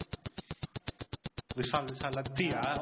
Vishal, Vishal. லத்தியா?